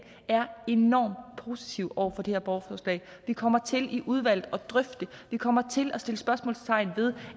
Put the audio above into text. er enormt positive over for det her borgerforslag vi kommer til i udvalget at drøfte det vi kommer til at sætte spørgsmålstegn ved